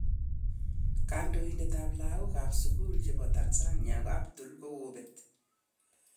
Kandoitet ap lagok ap sukul chepo Tanzania adul kokopet.